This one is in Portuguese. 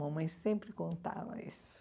Mamãe sempre contava isso.